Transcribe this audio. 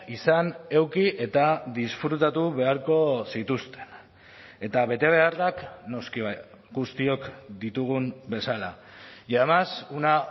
izan eduki eta disfrutatu beharko zituzten eta betebeharrak noski guztiok ditugun bezala y además una